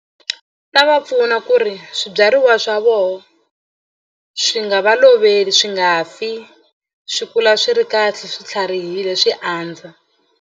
Ta va pfuna ku ri swibyariwa swa vona swi nga va loveli swi nga fi swi kula swi ri kahle swi tlharihile swi andza.